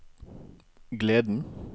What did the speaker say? gleden